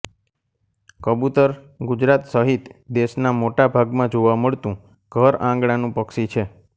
કબૂતર ગુજરાત સહિત દેશના મોટા ભાગમાં જોવા મળતું ઘરઆંગણાનું પક્ષી છે